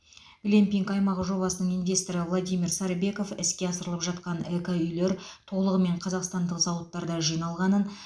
глэмпинг аймағы жобасының инвесторы владимир сарыбеков іске асырылып жатқан эко үйлер толығымен қазақстандық зауыттарда жиналғанын